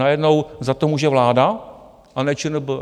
Najednou za to může vláda, a ne ČNB?